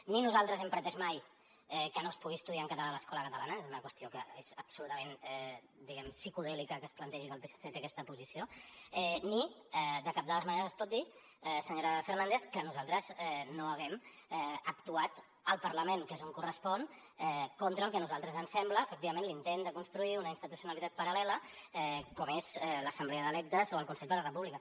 ni nosaltres hem pretès mai que no es pugui estudiar en català a l’escola catalana és una qüestió que és absolutament psicodèlica que es plantegi que el psc té aquesta posició ni de cap de les maneres es pot dir senyora fernández que nosaltres no hàgim actuat al parlament que és on correspon contra el que a nosaltres ens sembla efectivament l’intent de construir una institucionalitzat paral·lela com és l’assemblea d’electes o el consell per la república